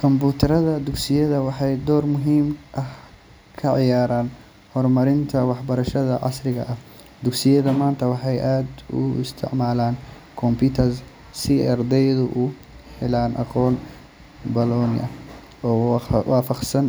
Kumbuyuutarrada dugsiyada waxay door muhiim ah ka ciyaaraan horumarinta waxbarashada casriga ah. Dugsiyada maanta waxay aad u isticmaalaan computers si ardaydu u helaan aqoon ballaaran oo waafaqsan